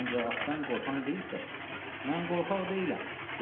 Ancaq atdan qorxan deyilsə, mən qorxaq deyiləm dedim.